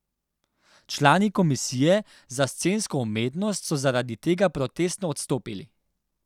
Člani komisije za scensko umetnost so zaradi tega protestno odstopili.